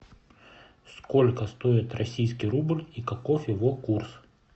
сколько стоит российский рубль и каков его курс